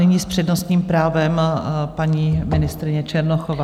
Nyní s přednostním právem paní ministryně Černochová.